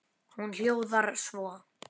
Hún hljóðar svo: